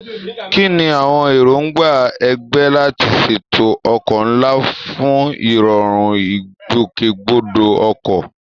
Kí ni àwọn èròǹgbà ẹgbẹ́ láti ṣètò ọkọ̀ ńlá fún ìrọ̀rùn ìgbòkègbodò ọkọ̀?